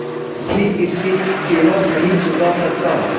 भी इसकी कीमत नहीं चुका सकता